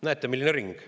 Näete, milline ring.